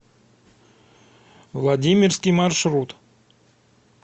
владимирский маршрут